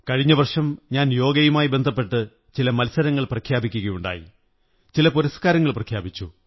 കഴിഞ്ഞ വര്ഷംണ ഞാൻ യോഗയുമായി ബന്ധപ്പെട്ട് ചില മത്സരങ്ങൾ പ്രഖ്യാപിക്കുകയുണ്ടായി ചില പുരസ്കാരങ്ങൾ പ്രഖ്യാപിച്ചു